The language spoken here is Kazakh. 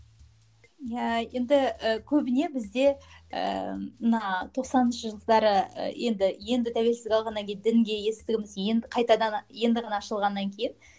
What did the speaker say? иә енді і көбіне бізде ііі мына тоқсаныншы жылдары і енді енді тәуелсіздік алғаннан кейін дінге есігіміз енді қайтадан енді ғана ашылғаннан кейін